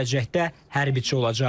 Gələcəkdə hərbiçi olacaq.